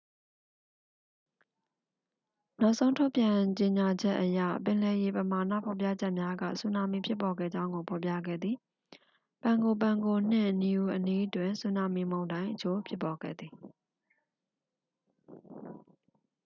နောက်ဆုံး ထုတ်ပြန်ကြေညာချက်အရ ပင်လယ်ရေပမာဏ ဖော်ပြချက်များက ဆူနာမီ ဖြစ်ပေါ်ခဲ့ကြောင်းကို ဖော်ပြခဲ့သည် pago pago နှင့် niue အနီးတွင် ဆူနာမီမုန်တိုင်း အချို့ ဖြစ်ပေါ်ခဲ့သည်